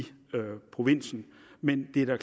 provinsen men det er